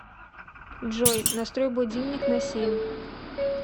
джой настрой будильник на семь